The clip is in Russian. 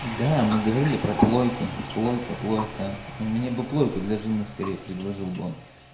да мы говорили про плойки плойка плойка мне бы плойку для жены скорей предложил бы он